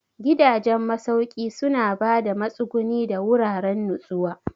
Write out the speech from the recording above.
Gidajen masauki suna ba da matsuguni da wuraren nutsuwa.